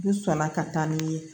U sɔnna ka taa ni ye